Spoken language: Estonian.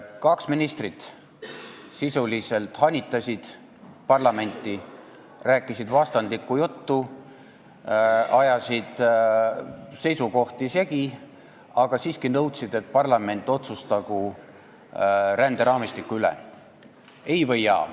Kaks ministrit sisuliselt hanitasid parlamenti, rääkisid vastandlikku juttu, ajasid seisukohti segi, aga siiski nõudsid, et parlament otsustagu ränderaamistiku üle, ei või jaa.